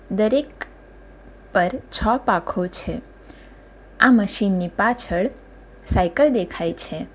દરેક પર છ પાખો છે આ મશીન ની પાછળ સાયકલ દેખાય છે.